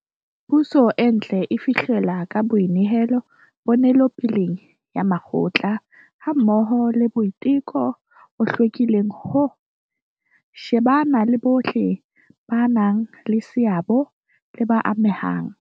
Puso e ntle e fihlellwa ka boinehelo ponelopeleng ya mokgatlo hammoho le boiteko bo hlwekileng ho, shebana le bohle ba nang le seabo le ba amehang.